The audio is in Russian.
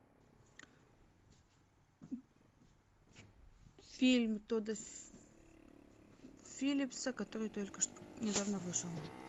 фильм тодда филлипса который только что недавно вышел